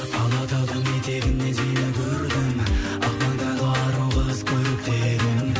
алатаудың етегіне дейін көрдім ақ маңдайлы ару қыз көрікті едің